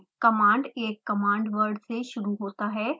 command एक command word से शुरू होता है